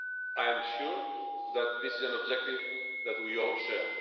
I am sure this is an objective that we all share.